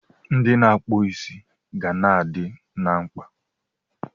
Ndị na-akpụ isi ga na-adị na mkpa.